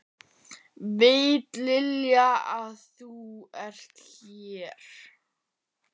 Veit Lilja að þú ert hér?